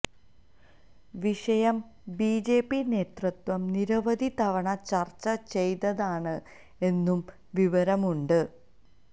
വിഷയം ബിജെപി നേതൃത്വം നിരവധി തവണ ചര്ച്ച ചെയ്തതാണ് എന്നും വിവരമുണ്ട്